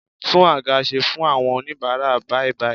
Tún àga ṣe fún àwọn oníbara bàìbàì